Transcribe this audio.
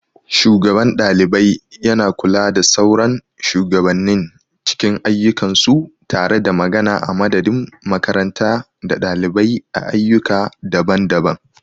Shugaban ɗalibai yana kula da sauran shugabannin cikin ayyukansu tare da magana a madadin makaranta da ɗalibai a ayyuka daban-daban.